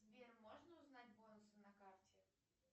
сбер можно узнать бонусы на карте